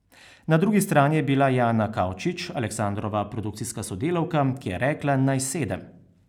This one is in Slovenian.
Na drugi strani je bila Jana Kavčič, Aleksandrova produkcijska sodelavka, ki je rekla, naj sedem.